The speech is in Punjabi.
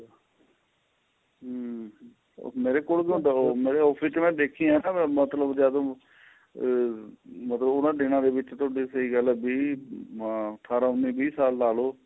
ਹਮ ਮੇਰੇ ਕੋਲ ਮੇਰੇ office ਵਿੱਚ ਮੈਂ ਦੇਖਿਆਂ ਮਤਲਬ ਜਦ ਆਹ ਮਤਲਬ ਉਹਨਾ ਦਿਨਾਂ ਦੇ ਵਿੱਚ ਤੁਹਾਡੀ ਸਹੀਂ ਗੱਲ ਏ ਵੀ ਅੱਠਾਰਾ ਉੰਨੀ ਵੀਹ ਸਾਲ ਲਾਲੋ